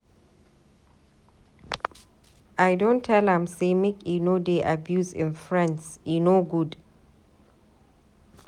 I don tell am sey make e no dey abuse im friends, e no good.